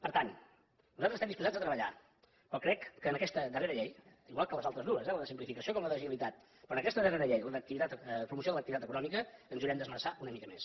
per tant nosaltres estem disposats a treballar però crec que en aquesta darrera llei igual que en les altres dues la de simplificació com la d’agilitat però en aquesta darrera llei la de promoció de l’activitat econòmica ens hi haurem d’esmerçar una mica més